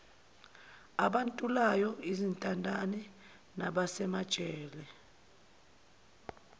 abantulayo izintandane nabasemajele